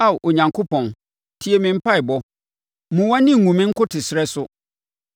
Ao Onyankopɔn, tie me mpaeɛbɔ, mmu wʼani ngu me nkotosrɛ so,